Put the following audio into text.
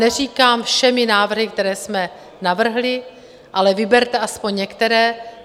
Neříkám všemi návrhy, které jsme navrhli, ale vyberte aspoň některé.